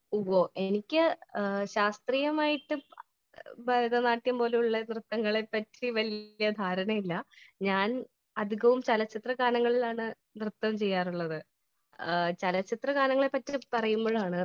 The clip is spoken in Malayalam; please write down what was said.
സ്പീക്കർ 1 ഉവ്വ് എനിക്ക് ശാസ്ത്രീയമായിട്ട് ഭരതനാട്യം പോലുള്ള നൃത്തങ്ങളെ പറ്റി വലിയ ധാരണ ഇല്ല . ഞാൻ അധികവും ചലച്ചിത്രഗാനങ്ങളിലാണ് നൃത്തം ചെയ്യാറുള്ളത് . ചലച്ചിത്ര ഗാനങ്ങളെ പറ്റി പറയുമ്പോഴാണ്